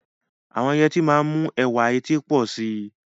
Àwọn yẹtí máa ń mú ẹwà etí pọ̀ sí i.